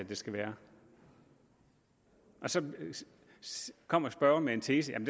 der skal være så kommer spørgeren med en tese om